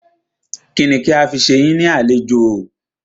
Kínni kí a fi ṣe yín ní àlejò?